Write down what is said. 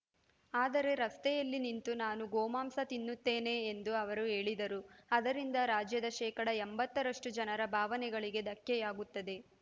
ಆದರೆ ರಸ್ತೆಯಲ್ಲಿ ನಿಂತು ನಾನು ಗೋಮಾಂಸ ತಿನ್ನುತ್ತೇನೆ ಎಂದು ಅವರು ಹೇಳಿದರೆ ಅದರಿಂದ ರಾಜ್ಯದ ಶೇಕಡಾ ಎಂಬತ್ತರಷ್ಟುಜನರ ಭಾವನೆಗಳಿಗೆ ಧಕ್ಕೆಯಾಗುತ್ತದೆ